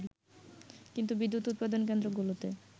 কিন্তু বিদ্যুৎ উৎপাদন কেন্দ্র গুলোতে